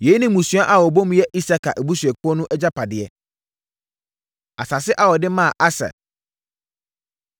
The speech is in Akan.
Yei ne mmusua a wɔbɔ mu yɛ Isakar abusuakuo no agyapadeɛ. Asase A Wɔde Maa Aser